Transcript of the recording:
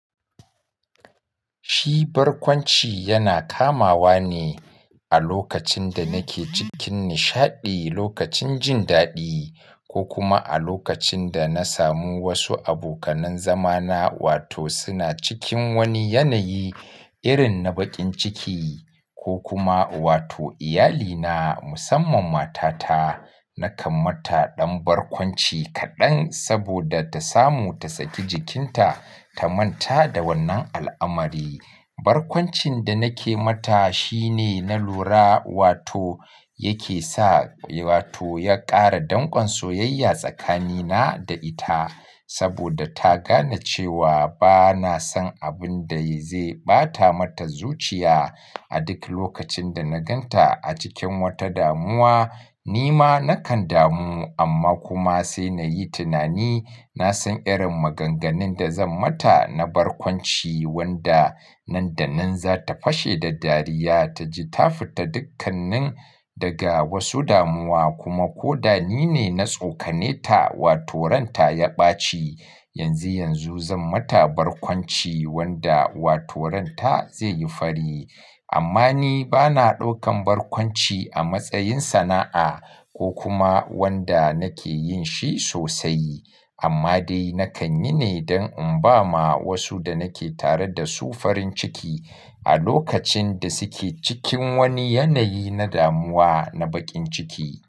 Shi barkwanci yana kamawa ne a lokacin da nake cikin nishaɗi, lokacin jin daɗi ko kuma a lokacin da na samu wasu abokan zama na wato suna cikin wani yanayi irin na baƙin ciki ko kuma wato iyalina musamman matata. Na kamata ɗan barkwanci kaɗan saboda ta samu ta saki jikinta ta manta da wannan al'amari. Barkwancin da nake mata shine na lura wato yake sa wato ya ƙara dangon soyayya tsakanina da ita saboda ta gane cewa bana son abin da zai ɓata mata zuciya. A duk lokacin da na gan ta a cikin wata damuwa, nima nakan damu amma kuma sai na yi tunani. Na san irin maganganun da zan mata na barkwanci wanda nan da nan za ta fashe da dariya ta ji ta fita dukkannin daga wasu damuwa. Kuma ko da nine na tsokane ta wato ranta ya ɓaci, yanzu yanzu zan mata barkwanci wanda wato ranta zai yi fari. Amma ni bana ɗaukan barkwanci a matsayin sana'a ko kuma wanda nake yin shi sosai. Amma dai nakan yi ne don in ba ma wasu da nake tare da su farin ciki a lokacin da suke cikin wani yanayi na damuwa na baƙin ciki.